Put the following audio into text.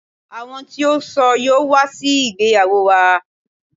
Àwọn tí ó ṣọ yóò wá síbi ìgbéyàwó wa.